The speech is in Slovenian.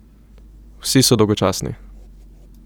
Vsi so dolgočasni.